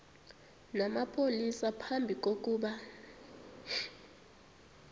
namapolisa phambi kokuba